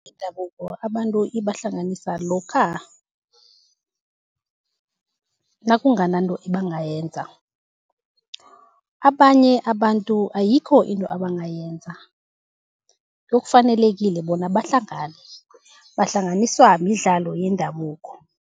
yendabuko abantu ibahlanganisa lokha nakungananto ebangayenza. Abanye abantu ayikho into abangayenza kuyokufanelekile bona bahlangane, bahlanganiswa midlalo yendabuko.